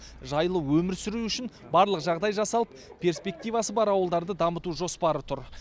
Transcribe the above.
жайлы өмір сүруі үшін барлық жағдай жасалып перспективасы бар ауылдарды дамыту жоспары тұр